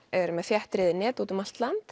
eru með þéttriðin net út um allt land